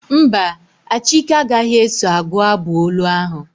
Mba, Achike agaghị eso agụ abụ olu ahụ.